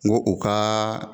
N ko o ka